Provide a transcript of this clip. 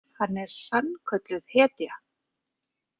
Hann er sannkölluð hetja!